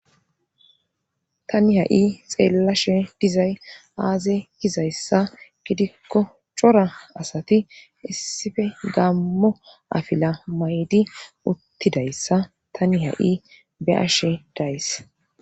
Tani ha'i xeellashe dizay aaze gizayssa gidikko cora asati issife gammo afila mayidi uttidayssa tani ha7i be7ashe days.